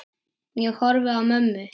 Ég horfi á mömmu.